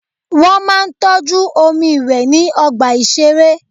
Wọ́n máa ń tọ́jú omi ìwé ní ọgbà ìṣeré.